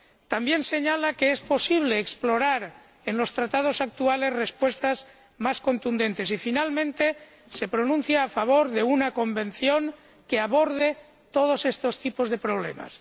También señala el informe que es posible explorar, en los Tratados actuales, respuestas más contundentes y, finalmente, se pronuncia a favor de una convención que aborde todos estos tipos de problemas.